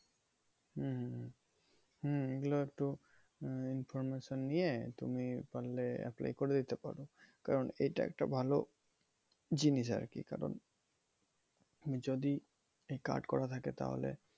হম হম হম হম এগুলো একটু উম information নিয়ে তুমি পারলে apply করে দিতে পারো। কারণ এটা একটা ভালো জিনিস আরকি। কারণ যদি এই card করা থাকে তাহলে